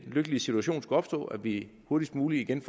lykkelige situation skulle opstå at vi hurtigst muligt igen